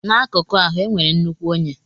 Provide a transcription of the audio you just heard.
N'akụkọ ahụ, e nwere nnukwu onye.